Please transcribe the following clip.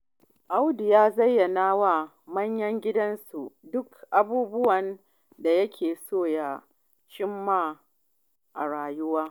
Audu ya zayyana wa manyan gidansu duka abubuwan da yake so ya cimma a rayuwa.